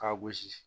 K'a gosi